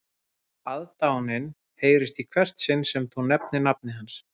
Aðdáunin heyrist í hvert sinn sem þú nefnir nafnið hans